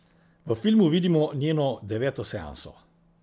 V filmu vidimo njeno deveto seanso.